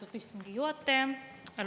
Austatud istungi juhataja!